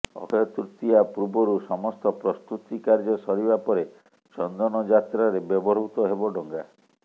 ଅକ୍ଷୟ ତୃତୀୟା ପୂର୍ବରୁ ସମସ୍ତ ପ୍ରସ୍ତୁତି କାର୍ଯ୍ୟ ସରିବା ପରେ ଚନ୍ଦନଯାତ୍ରାରେ ବ୍ୟବହୃତ ହେବ ଡଙ୍ଗା